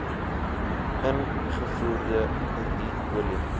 ingevoerde ru olie